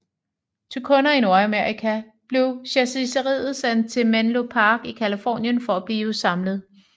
Til kunder i Nordamerika blev chassiset sendt til Menlo Park i Californien for at blive samlet